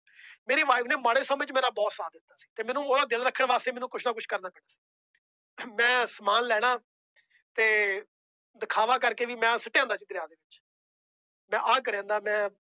ਮੇਰੀ wife ਨੇ ਮਾੜੇ ਸਮੇਂ ਚ ਮੇਰਾ ਬਹੁਤ ਸਾਥ ਦਿੱਤਾ ਸੀ ਤੇ ਮੈਨੂੰ ਉਹਦਾ ਦਿਲ ਰੱਖਣ ਵਾਸਤੇ ਮੈਨੂੰ ਕੁਛ ਨਾ ਕੁਛ ਕਰਨਾ ਮੈਂ ਸਮਾਨ ਲੈਣਾ ਤੇ ਦਿਖਾਵਾ ਕਰਕੇ ਵੀ ਮੈਂ ਸੁੱਟੇ ਆਉਂਦਾ ਦਰਿਆ ਦੇ ਵਿੱਚ ਮੈਂ ਆਹ ਕਰੇ ਆਉਂਦਾ ਮੈਂ